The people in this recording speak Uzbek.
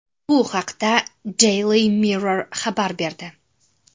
Bu haqda Daily Mirror xabar berdi .